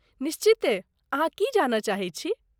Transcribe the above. निश्चिते, अहाँ की जानय चाहैत छी?